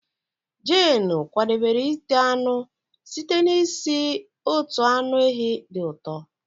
Jane kwadebere ite anụ site n'isi otu anụ ehi dị ụtọ